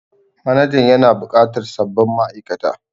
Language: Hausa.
Manajan yana bukatar sabbin ma'aikata